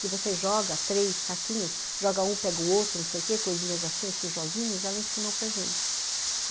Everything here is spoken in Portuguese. Que você joga três saquinhos, joga um, pega o outro, não sei o quê, coisinhas assim, esses joguinhos, ela ensinou para gente.